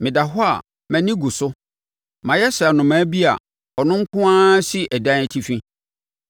Meda hɔ a, mʼani gu so; mayɛ sɛ anomaa bi a ɔno nko ara si ɛdan atifi.